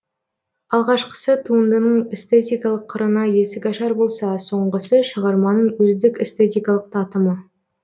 алғашқысы туындының эстетикалық қырына есік ашар болса соңғысы шығарманың өздік эстетикалық татымы